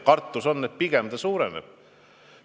Kartus on, et pigem see suureneb.